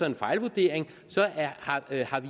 en fejlvurdering har